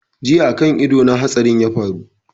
Jiya kan ido na hatsarin ya faru